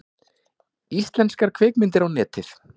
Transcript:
Íslenskar kvikmyndir á Netið